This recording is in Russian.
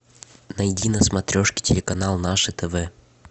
найди на смотрешке телеканал наше тв